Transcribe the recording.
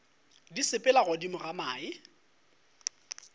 di sepela godimo ga mae